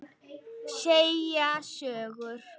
Segja sögur.